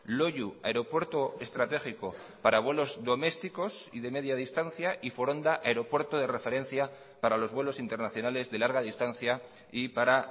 loiu aeropuerto estratégico para vuelos domésticos y de media distancia y foronda aeropuerto de referencia para los vuelos internacionales de larga distancia y para